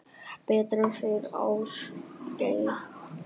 Betra, segir Ásgeir.